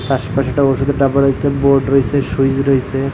শ্বাসকষ্ট ওষুধের ডাব্বা রইসে বোর্ড রইসে সুইজ রইসে।